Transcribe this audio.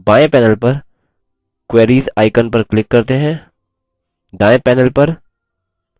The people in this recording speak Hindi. बाएं panel पर queries icon पर click करते हैं